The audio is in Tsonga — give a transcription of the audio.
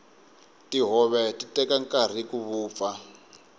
tihove ti teka nkarhi ku vupfa